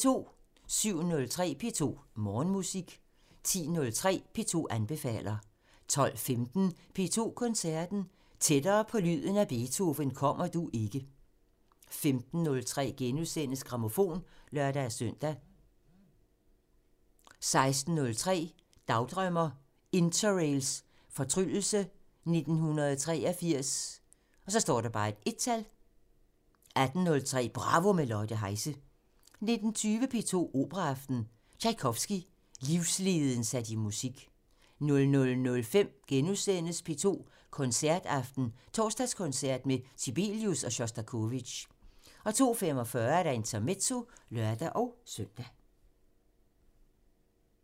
07:03: P2 Morgenmusik 10:03: P2 anbefaler 12:15: P2 Koncerten – Tættere på lyden af Beethoven kommer du ikke! 15:03: Grammofon *(lør-søn) 16:03: Dagdrømmer: Interrails fortryllelse 1983 1 18:03: Bravo – med Lotte Heise 19:20: P2 Operaaften – Tjajkovskij – livsleden sat i musik 00:05: P2 Koncerten – Torsdagskoncert med Sibelius og Sjostakovitjj * 02:45: Intermezzo (lør-søn)